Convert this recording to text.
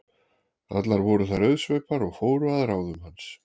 Allar voru þær auðsveipar og fóru að ráðum hans.